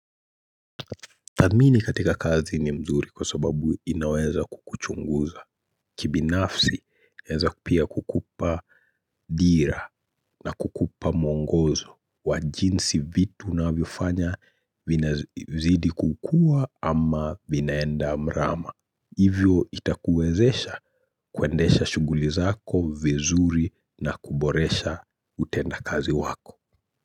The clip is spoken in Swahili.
Tadhmini katika kazi ni mzuri kwa sababu inaweza kukuchunguza. Kibinafsi, eza pia kukupa dira na kukupa muongozo. Wa jinsi vitu unavyo fanya vina zidi kukua ama vinaenda mrama. Hivyo itakuezesha kuendesha shughuli zako vizuri na kuboresha utenda kazi wako.